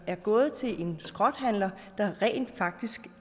er gået til en skrothandler der rent faktisk